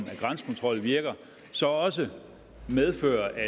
at grænsekontrol virker så også medfører at